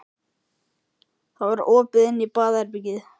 Það var opið inn á baðherbergið.